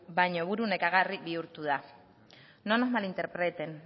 buru nekagarri bihurtu da no nos malinterpreten